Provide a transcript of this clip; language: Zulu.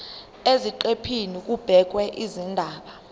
eziqephini kubhekwe izindaba